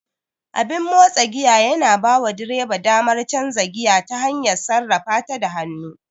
Abin motsa giya yana bawa direba damar canza giya ta hanyar sarrafata da hannu.